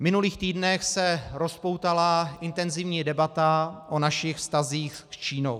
V minulých týdnech se rozpoutala intenzivní debata o našich vztazích s Čínou.